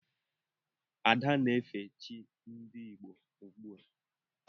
Ada na-efe chi ndị Igbo ugbua.